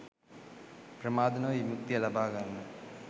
ප්‍රමාද නොවී විමුක්තිය ලබා ගන්න